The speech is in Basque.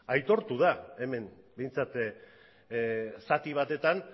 aitortu da hemen behintzat zati batetan